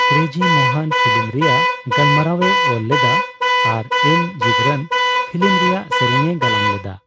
Crazy Mohan film ᱨᱮᱭᱟᱜ ᱜᱟᱞᱢᱟᱨᱟᱣᱮ ᱚᱞ ᱞᱮᱫᱟ ᱟᱨ ᱮᱢ ᱡᱤᱵᱽᱨᱟᱱ ᱯᱷᱤᱞᱤᱢ ᱨᱮᱭᱟᱜ ᱥᱮᱨᱮᱧ ᱮ ᱜᱟᱞᱟᱝ ᱞᱮᱫᱟ ᱾